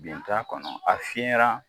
Bin t'a kɔnɔ a fiɲɛyara